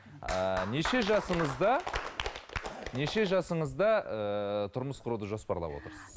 ыыы неше жасыңызда неше жасыңызда ііі тұрмыс құруды жоспарлап отырсыз